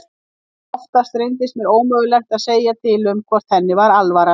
Oftast reyndist mér ómögulegt að segja til um hvort henni var alvara.